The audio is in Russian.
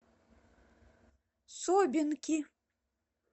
собинки